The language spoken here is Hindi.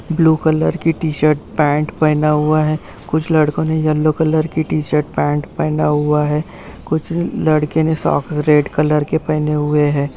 ब्लू कलर की टी-शर्ट पैंट पहना हुआ है कुछ लड़कों ने येलो कलर की टि-शर्ट पैंट पहना हुआ है कुछ अ ल लड़के ने सॉक्स रेड कलर के पहने हुए हैं।